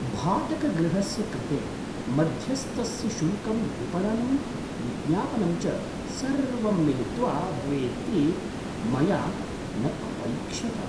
भाटकगृहस्य कृते मध्यस्थस्य शुल्कं विपणनं विज्ञापनं च सर्वं मिलित्वा भवेदिति मया न अपैक्ष्यत।